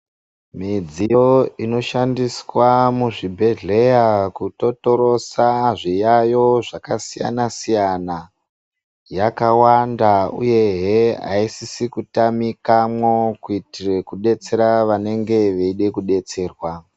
Midziyo inoshandiswa muzvibhehleya kutotorosa zviyayiyo zvakasiyana siyana yakawanda uyehe aisisi kutamikamwo kuitira kudetsera vanenge veide kudetserwa.